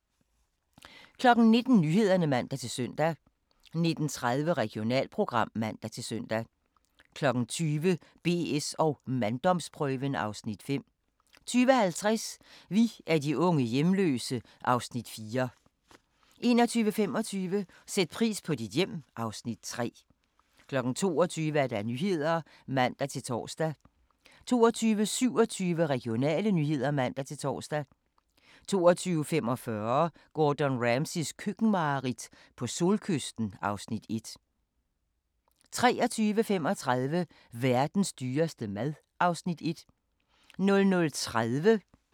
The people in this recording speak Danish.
19:00: Nyhederne (man-søn) 19:30: Regionalprogram (man-søn) 20:00: BS & manddomsprøven (Afs. 5) 20:50: Vi er de unge hjemløse (Afs. 4) 21:25: Sæt pris på dit hjem (Afs. 3) 22:00: Nyhederne (man-tor) 22:27: Regionale nyheder (man-tor) 22:45: Gordon Ramsays køkkenmareridt - på solkysten (Afs. 1) 23:35: Verdens dyreste mad (Afs. 1) 00:30: Grænsepatruljen